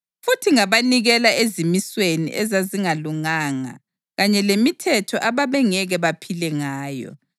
Futhi ngabanikela ezimisweni ezazingalunganga kanye lemithetho ababengeke baphile ngayo;